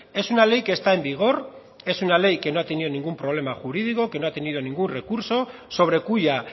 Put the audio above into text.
es una ley que está en vigor es una ley que no ha tenido ningún problema jurídico que no ha tenido ningún recurso sobre cuya